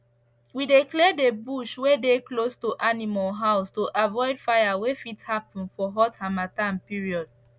we dey clear the bush wey dey close to animals house to avoid fire wey fit happen for hot hamattan period